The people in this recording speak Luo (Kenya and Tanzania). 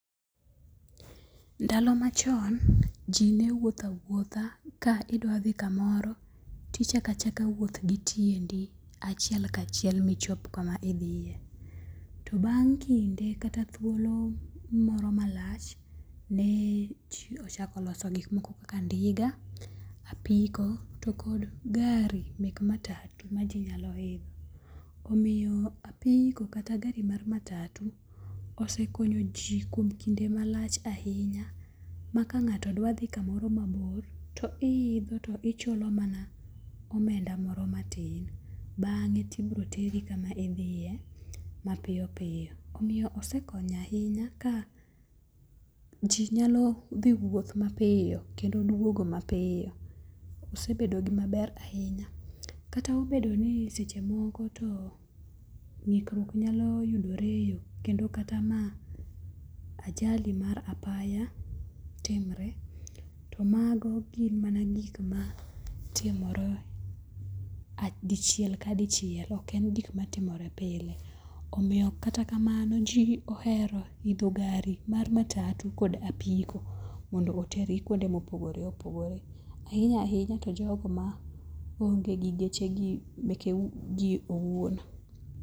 Ndalo machon ji ne wuotho awuotha ka idwa dhi kamoro tichaka chaka wuoth gi tiendi achiel kachiel michop kama idhiye. To bang' kinde kata thuolo moro malach ne ji ochako loso gik moko kaka ndinga, apiko to kod gari mek matatu ma ji nyalo idho. Omiyo apiko kata gar i mar matatu osekonyo ji kuom kinde malach ahinya. Ma kang'ato dwa dhi kamoro mabor to i idho to ichulo mana omenda mor matin. Bange to ibiro teri kama idhiye mapiyo piyo. Omiyo osekonyo ahinya ka ji nyalo dhi wuoth mapiyo kendo duogo mapiyo. Osebedo gima ber ahinya. Kata obedo ni seche moko to ng'ikruok nyalo yudore e yo kata ma ajali mar apaya timore. To mago gin mana gik ma timore dichiel ka dichiel. Ok en gik matimore pile. Omiyo kata kamano ji ohero idho gari mar matatu kod apiko mondo oteri kuonde mopogore opogore. Ahinya ahinya to jogo ma onge gi geche gi meke gi owuon.